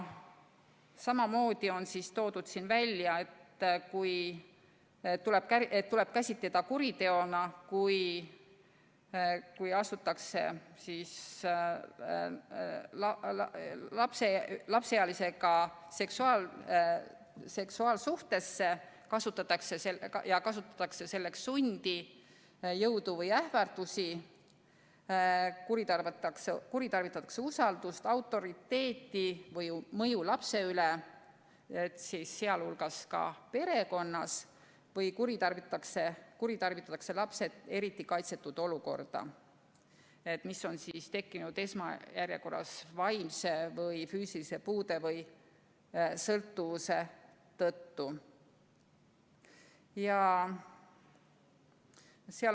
Samamoodi on välja toodud, et tuleb käsitada kuriteona, kui astutakse lapseealisega seksuaalsuhtesse ja kasutatakse selleks sundi, jõudu või ähvardusi, kuritarvitatakse usaldust, autoriteeti või mõju lapse üle, seda ka perekonnas, või kuritarvitatakse lapse eriti kaitsetut seisundit, mis on tekkinud esmajärjekorras vaimse või füüsilise puude või sõltuvuse tõttu.